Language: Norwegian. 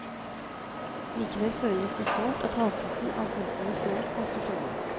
Likevel føltes det sårt at halvparten av pultene snart kan stå tomme.